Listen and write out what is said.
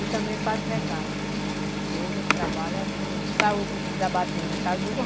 E também o Padre José Carlos, que hoje ele trabalha com... saiu da batina, casou.